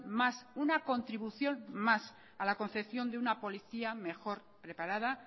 más una contribución más a la concepción de una policía mejor preparada